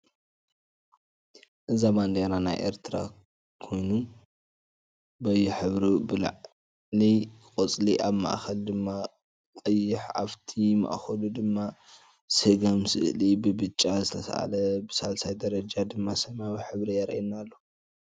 እዚ ባንደራ ናይ ኤርትራ ኾይኑ በየሕብሩ ብላዕሊ ቆፃሊ ኣብ ማእከል ድማ ቀይሕ ኣፍቲ ማእከሉድማ ስገም ስእሊ ብብጫ ዝተሳኣለ ብሳልሳይ ደረጃ ድማ ሰማያዊ ሕብሪ የርእየና ኣሎ።